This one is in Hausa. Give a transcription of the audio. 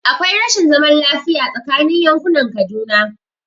Akwai rashin zaman lafiya tsakanin yankunan Kaduna